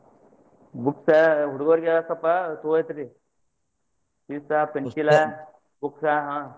Boot ಆ ಹುಡಗೋರ್ಗೆ ಸ್ವಲ್ಪ ಚಲೊ ಐತ್ರಿ pencil ಲಾ book ಆ.